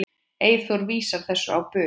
Eyþór vísar þessu á bug.